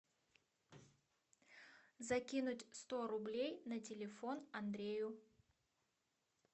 закинуть сто рублей на телефон андрею